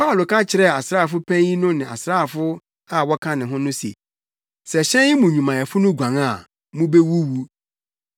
Paulo ka kyerɛɛ asraafo panyin no ne asraafo a wɔka ne ho no se, “Sɛ hyɛn yi mu nnwumayɛfo no guan a, mubewuwu.”